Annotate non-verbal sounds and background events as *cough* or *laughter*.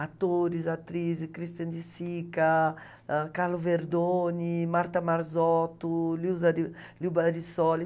Atores, atrizes, Christian de Sica, ãh, Carlo Verdoni, Marta Marzotto, *unintelligible* Liu Barisoli.